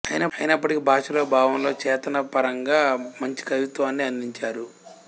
అయినప్పటికీ భాషలో భావంలో చేతనా పరంగా మంచి కవిత్వాన్నే అందించారు